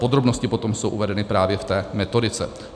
Podrobnosti potom jsou uvedeny právě v té metodice.